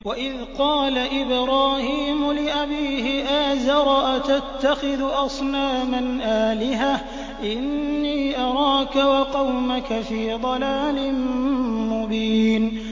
۞ وَإِذْ قَالَ إِبْرَاهِيمُ لِأَبِيهِ آزَرَ أَتَتَّخِذُ أَصْنَامًا آلِهَةً ۖ إِنِّي أَرَاكَ وَقَوْمَكَ فِي ضَلَالٍ مُّبِينٍ